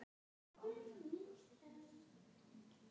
Enginn dagur er til enda tryggður.